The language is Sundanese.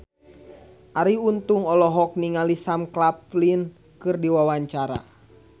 Arie Untung olohok ningali Sam Claflin keur diwawancara